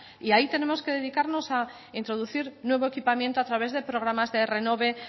y ahí tenemos que dedicarnos a introducir nuevo equipamiento a través de programas de renove